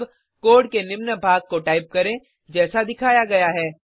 अब कोड के निम्न भाग को टाइप करें जैसा दिखाया गया है